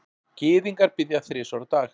Gyðingar biðja þrisvar á dag.